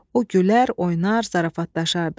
O gülər, oynar, zarafatlaşardı.